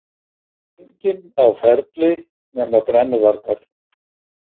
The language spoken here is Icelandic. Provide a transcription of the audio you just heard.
Eiginlega enginn á ferli nema brennuvargar.